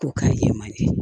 Ko k'a ye man di